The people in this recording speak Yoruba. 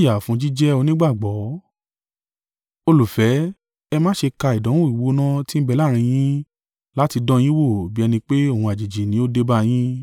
Olùfẹ́, ẹ má ṣe ka ìdánwò gbígbóná ti ń bẹ láàrín yín láti dán yín wò bi ẹni pé ohun àjèjì ni ó dé bá yín.